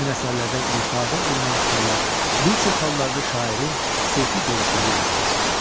Həmin əsərlərdə ifadə olunan fikirlər bir çox hallarda şairin sufi görüşləri ilə qovuşur.